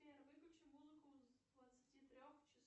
сбер выключи музыку с двадцати трех часов